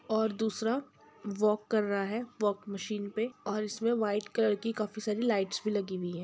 और दूसरा वॉक कर रहा है वॉक मशीन पे और इसमें व्हाइट कलर की काफी सारी लाइट्स भी लगी हुई है।